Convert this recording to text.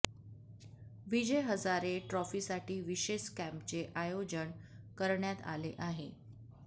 विजय हजारे ट्रॉफीसाठी विशेष कॅम्पचे आयोजन करण्यात आले आहे